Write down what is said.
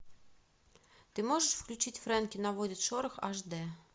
ты можешь включить фрэнки наводит шорох аш дэ